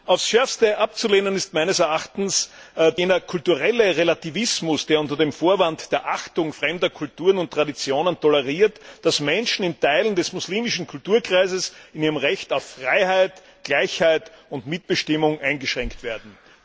Aufs Schärfste abzulehnen ist meines Erachtens jener kulturelle Relativismus, der unter dem Vorwand der Achtung fremder Kulturen und Traditionen toleriert, dass Menschen in Teilen des muslimischen Kulturkreises in ihrem Recht auf Freiheit, Gleichheit und Mitbestimmung eingeschränkt werden.